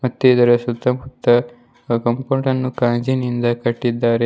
ಮತ್ತು ಇದರ ಸುತ್ತ ಮುತ್ತ ಕಾಂಪೌಂಡ ನ್ನು ಗಾಜಿನಿಂದ ಕಟ್ಟಿದ್ದಾರೆ.